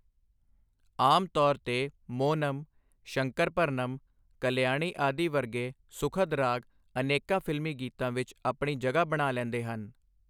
ਆਮ ਤੌਰ 'ਤੇ ਮੋਹਨਮ, ਸ਼ੰਕਰਭਰਨਮ, ਕਲਿਆਣੀ ਆਦਿ ਵਰਗੇ ਸੁਖਦ ਰਾਗ ਅਨੇਕਾਂ ਫਿਲਮੀ ਗੀਤਾਂ ਵਿੱਚ ਆਪਣੀ ਜਗ੍ਹਾ ਬਣਾ ਲੈਂਦੇ ਹਨ।